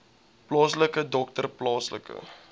plaaslike dokter plaaslike